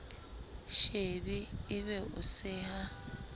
shebe e be o seha